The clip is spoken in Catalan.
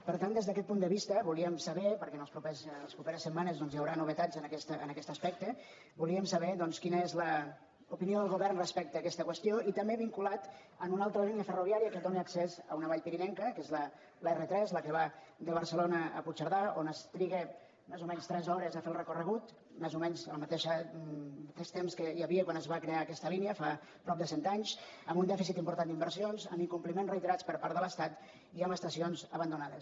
per tant des d’aquest punt de vista volíem saber perquè en les properes setmanes doncs hi haurà novetats en aquest aspecte quina és l’opinió del govern respecte a aquesta qüestió i també vinculat a una altra línia ferroviària que dóna accés a una vall pirinenca que és l’r3 la que va de barcelona a puigcerdà on es triguen més o menys tres hores a fer el recorregut més o menys el mateix temps que hi havia quan es va crear aquesta línia fa prop de cent anys amb un dèficit important d’inversions amb incompliments reiterats per part de l’estat i amb estacions abandonades